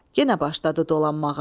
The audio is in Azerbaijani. Yenə başladı dolanmağa.